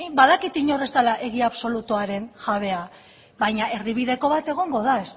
badakit inor ez dela egi absolutuaren jabea baina erdibideko bat egongo da